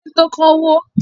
Ilé tó kọ́ wó.